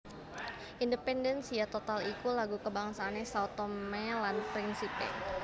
Independência total iku lagu kabangsané Sao Tomé lan Principe